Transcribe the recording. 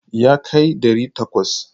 Yakai ɗari takwas.